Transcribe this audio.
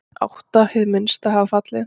Átta hið minnsta hafa fallið.